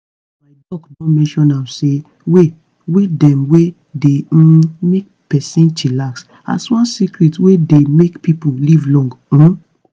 my doc don mention am say way way dem wey dey um make person chillax as one secret wey dey make pipo live long. um